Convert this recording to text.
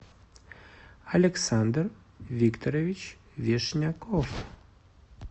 александр викторович вишняков